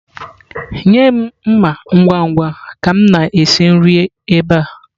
Nye m mma ngwa ngwa ka m na-esi nri ebe a!.